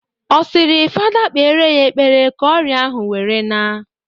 Ọ sịrị fada kpere ya ekepre ka ọrịa ahụ were na?